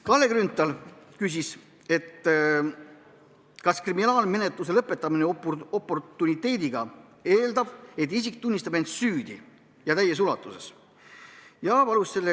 Kalle Grünthal küsis, kas kriminaalmenetluse lõpetamine oportuniteediga eeldab, et isik tunnistab end täies ulatuses süüdi.